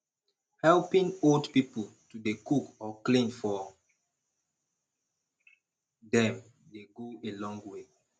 helping old pipo to dey cook or clean for dem dey go a long way